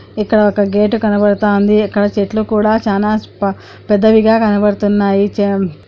ఇక్కడ ఒక్క గేటు కనపడుతంది. ఇక్కడ చెట్లు కూడా చానా ప-పెద్దవిగా కనపడుతున్నాయి చం.